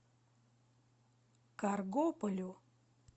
каргополю